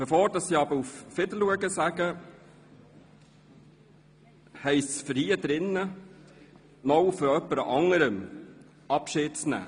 Bevor ich aber auf Wiedersehen sage, heisst es, noch von jemand anderem hier im Saal Abschied zu nehmen.